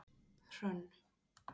Hrönn